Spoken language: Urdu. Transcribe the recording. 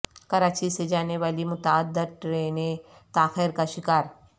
کراچی سے جانے والی متعدد ٹرینیں تاخیر کا شکار